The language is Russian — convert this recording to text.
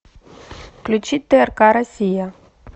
включи трк россия